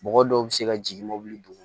Mɔgɔ dɔw bɛ se ka jigin mobili